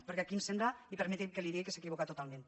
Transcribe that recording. perquè aquí em sembla i permeti’m que li ho digui que s’equivoca totalment